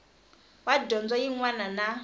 wa dyondzo yin wana na